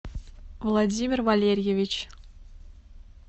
владимир валерьевич